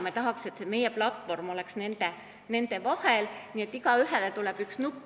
Me tahaks, et see meie platvorm oleks nende vahel, nii et igaühele tuleb üks nupp.